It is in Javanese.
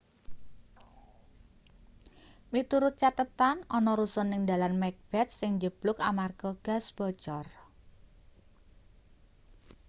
miturut cathetan ana rusun ning dalan macbeth sing njebluk amarga gas bocor